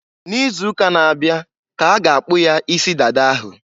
N'izuuka na-abịa ka a ga akpụ ya isi dada ahụ.